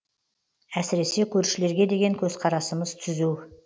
әсіресе көршілерге деген көзқарасымыз түзу